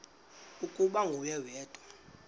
ukuba nguwe wedwa